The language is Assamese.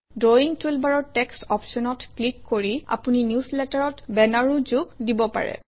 ড্ৰয়িং টুলবাৰৰ টেক্সট অপশ্যনত ক্লিক কৰি আপুনি নিউজলেটাৰত বেনাৰো যোগ দিব পাৰে